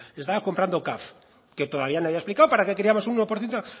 estaba comprando caf que todavía nadie ha explicado para qué queríamos un uno por ciento